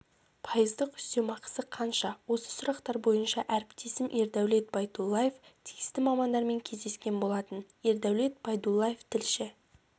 пайыздық үстемақысы қанша осы сұрақтар бойынша әріптесім ердәулет байдуллаев тиісті мамандармен кездескен болатын ердәулет байдуллаев тілші